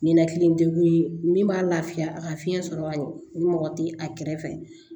Ninakili degu ye min b'a lafiya a ka fiɲɛ sɔrɔ ka ɲɛ o mɔgɔ tɛ a kɛrɛfɛ